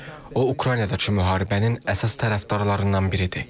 O Ukraynadakı müharibənin əsas tərəfdarlarından biridir.